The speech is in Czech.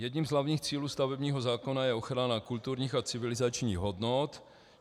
Jedním z hlavních cílů stavebního zákona je ochrana kulturních a civilizačních hodnot.